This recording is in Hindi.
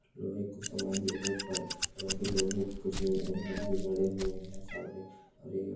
लोहे का कुछ सामान भी रखा हुआ है और यहां पे लोहे के कुछ एंगल भी गड़े हुए है सामने और यह--